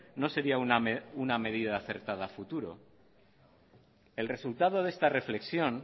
no sería una medida acertada a futuro el resultado de esta reflexión